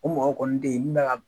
O mɔgɔw kɔni ten in